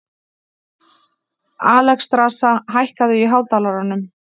Alexstrasa, hækkaðu í hátalaranum.